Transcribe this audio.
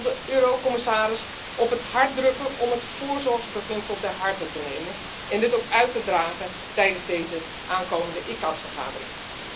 Ik wil de commissaris op het hart drukken om het voorzorgsbeginsel ter harte te nemen en dit ook uit te dragen tijdens deze aankomende ICCAT vergadering.